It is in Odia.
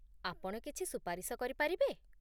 ଆପଣ କିଛି ସୁପାରିଶ କରିପାରିବେ?